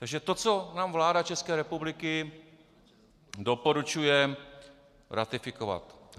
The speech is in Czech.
Takže to, co nám vláda České republiky doporučuje ratifikovat: